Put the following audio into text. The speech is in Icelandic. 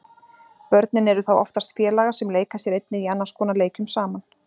Börnin eru þá oftast félagar sem leika sér einnig í annars konar leikjum saman.